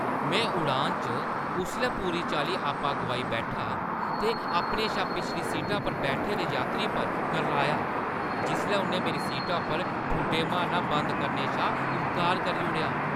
में उड़ान च उसलै पूरी चाल्ली आपा गोआई बैठा ते अपने शा पिछली सीटा पर बैठे दे यात्री पर करलाया जिसलै उʼन्नै मेरी सीटा पर ठुड्डे मारना बंद करने शा इन्कार करी ओड़ेआ।